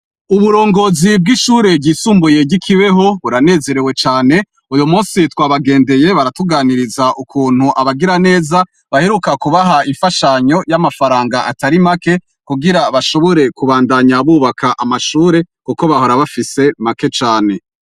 Uburongozi bw'ishure ryisumbuyegikibeho buranezerewe cane uyo musi twabagendeye baratuganiriza ukuntu abagira neza baheruka kubaha imfashanyo y'amafaranga atari make kugira bashobore kubandanya bubaka amashure, kuko bahora bafise make cane.